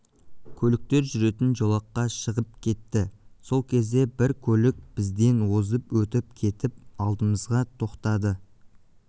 көліктер жүретін жолаққа шығып кетті сол кезде бір көлік бізден озып өтіп кетіп алдымызға тоқтады